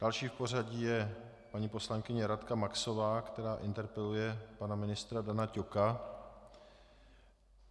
Další v pořadí je paní poslankyně Radka Maxová, která interpeluje pana ministra Dana Ťoka.